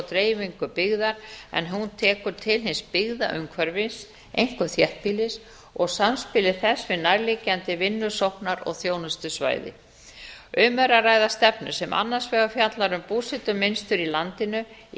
dreifingu byggðar en hún tekur til hins byggðaumhverfis einkum þéttbýlis og samspili þess við nærliggjandi vinnusóknar og þjónustusvæði með r að ræða stefnu sem annars vegar fjallar um búsetumynstur í landinu í